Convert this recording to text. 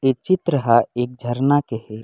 ए चित्र ह एक झरना के हे।